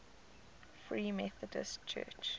free methodist church